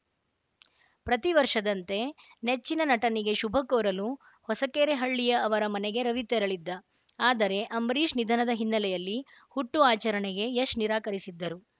ಪ್ರತಿ ವರ್ಷದಂತೆ ನೆಚ್ಚಿನ ನಟನಿಗೆ ಶುಭಕೋರಲು ಹೊಸಕೆರೆಹಳ್ಳಿಯ ಅವರ ಮನೆಗೆ ರವಿ ತೆರಳಿದ್ದ ಆದರೆ ಅಂಬರೀಷ್‌ ನಿಧನದ ಹಿನ್ನೆಲೆಯಲ್ಲಿ ಹುಟ್ಟು ಆಚರಣೆಗೆ ಯಶ್‌ ನಿರಾಕರಿಸಿದ್ದರು